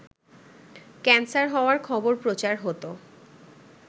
cancer হওয়ার খবর প্রচার হতো